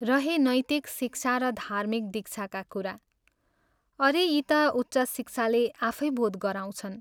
रहे नैतिक शिक्षा र धार्मिक दीक्षाका कुरा अरे, यी ता उच्च शिक्षाले आफै बोध गराउँछन्।